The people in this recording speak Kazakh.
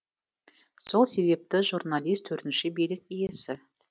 сол себепті журналист төртінші билік иесі